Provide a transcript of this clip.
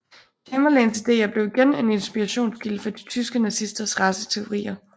Chamberlains ideer blev igen en inspirationskilde for de tyske nazisters raceteorier